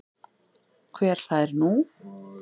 Hver hlær nú?